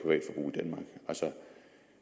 i den sag